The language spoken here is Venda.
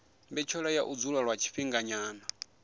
mbetshelwa ya u dzula lwa tshifhinganyana